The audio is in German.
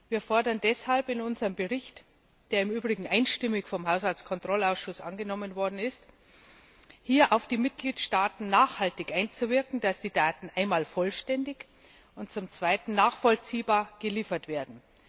Wir fordern deshalb in unserem Bericht der im Übrigen einstimmig vom Haushaltskontrollausschuss angenommen worden ist hier nachhaltig auf die Mitgliedstaaten einzuwirken, dass die Daten einmal vollständig und zum zweiten nachvollziehbar geliefert werden.